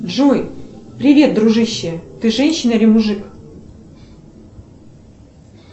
джой привет дружище ты женщина или мужик